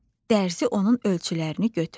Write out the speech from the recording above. Dərzi onun ölçülərini götürdü.